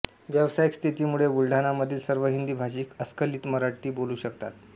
व्यावसायिक स्थितीमुळे बुलडाणा मधील सर्व हिंदी भाषिक अस्खलित मराठी बोलू शकतात